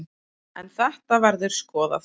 En þetta verður skoðað.